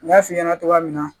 N y'a f'i ɲɛna cogoya min na